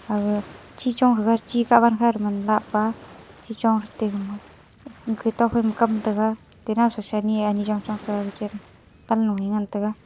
aga chichong haga chikah wankha lahpa chichong hate gama gato phaima kam taiga te nawsa sanyi e ani chongchong taiga gachen kam loe ngan taiga.